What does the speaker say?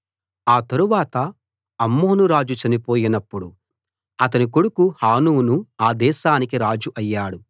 ఆ తరువాత అమ్మోను రాజు చనిపోయినప్పుడు అతని కొడుకు హానూను ఆ దేశానికి రాజు అయ్యాడు